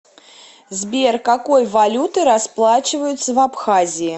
сбер какой валютой расплачиваются в абхазии